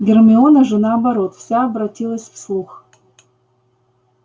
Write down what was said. гермиона же наоборот вся обратилась в слух